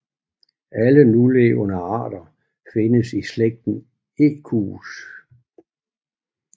Alle nulevende arter findes i slægten Equus